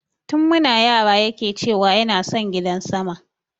Tun muna yara yake ce wa yana son gidan sama